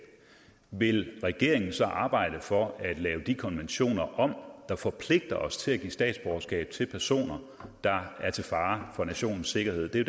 vil regeringen så arbejde for at lave de konventioner om der forpligter os til at give statsborgerskab til personer der er til fare for nationens sikkerhed det er